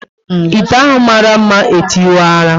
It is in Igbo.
Ite ahụ mara mma e tiwara